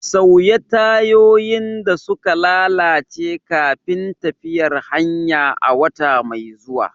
Sauya tayoyin da suka lalace kafin tafiyar hanya a wata mai zuwa.